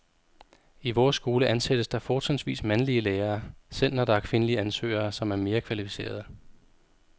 I vores skole ansættes der fortrinsvis mandlige lærere, selv når der er kvindelige ansøgere, som er mere kvalificerede.